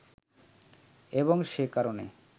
এবং সে কারণে